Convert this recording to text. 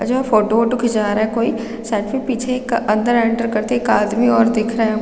जो फोटो वोटो खींचा रहा है कोई साइड में पीछे एक अंदर एंटर करते एक आदमी और दिख रहा हम--